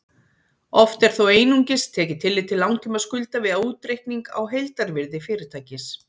Oft er þó einungis tekið tillit til langtímaskulda við útreikning á heildarvirði fyrirtækis.